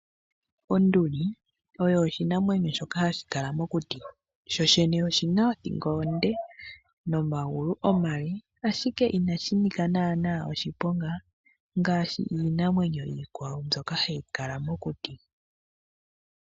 Onduli oshinamwenyo shimwe hashi kala owala mokuti. Oshina omagulu omaleeleka , no sho woo othingo onde.